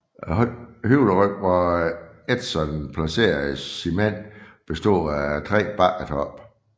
Højderyggen hvor Edson placerede sine mænd bestod af tre bakketoppe